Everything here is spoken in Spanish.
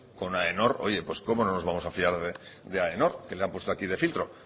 coño con aenor oye pues cómo no nos vamos a fiar de aenor que lo ha puesto aquí de filtro